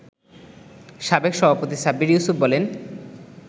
সাবেক সভাপতি সাব্বির ইউসূফ বলেন